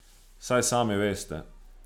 Saj sami veste.